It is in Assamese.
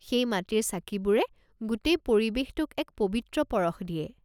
সেই মাটিৰ চাকিবোৰে গোটেই পৰিৱেশটোক এক পৱিত্ৰ পৰশ দিয়ে।